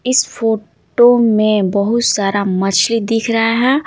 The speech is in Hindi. इस फोटो में बहुत सारा मछली दिख रहा है।